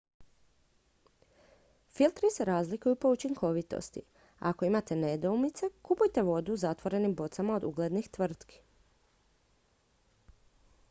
filtri se razlikuju po učinkovitosti a ako imate nedoumice kupujte vodu u zatvorenim bocama od uglednih tvrtki